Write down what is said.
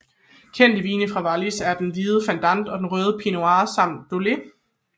Kendte vine fra Wallis er den hvide Fendant og den røde Pinot Noir samt Dôle